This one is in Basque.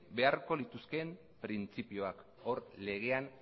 beharko lituzkeen printzipioak hor legean